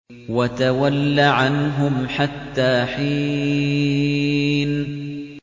وَتَوَلَّ عَنْهُمْ حَتَّىٰ حِينٍ